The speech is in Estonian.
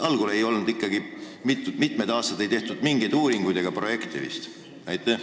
Algul vist ikkagi ei tehtud mingeid uuringuid ega projekte?